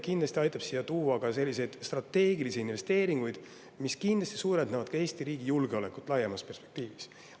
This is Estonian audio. Kindlasti aitab see siia tuua selliseid strateegilisi investeeringuid, mis suurendavad ka Eesti riigi julgeolekut laiemas perspektiivis.